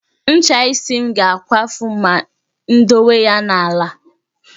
Ncha isi m ga-akwafu ma m dowe ya n'ala